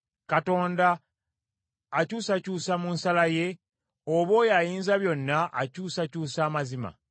Katonda akyusakyusa mu nsala ye? Oba oyo Ayinzabyonna akyusakyusa amazima?